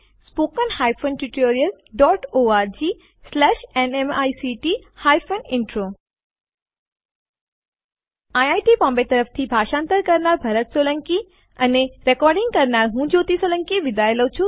spoken hyphen tutorial dot ORG slash NMEICT hyphen intro IIT Bombay તરફથી ભાષાંતર કરનાર હું ભરત સોલંકી વિદાય લઉં છું